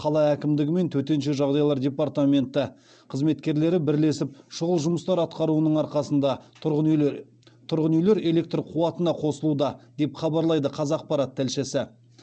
қала әкімдігі мен төтенше жағдайлар департаменті қызметкерлері бірлесіп шұғыл жұмыстар атқаруының арқасында тұрғын үйлер электр қуатына қосылуда деп хабарлайды қазақпарат тілшісі